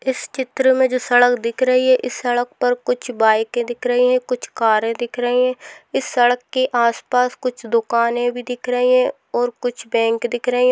इस चित्र में जो सड़क दिख रही है इस सड़क पर कुछ बाइके दिख रही है कुछ कारे दिख रही है इस सड़क के आस पास कुछ दुकाने भी दिख रही है और कुछ बैंक दिख रही है।